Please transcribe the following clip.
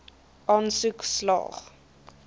aansoek slaag